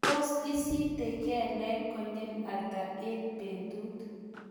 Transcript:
tos isite kelek konyil ata eng betut?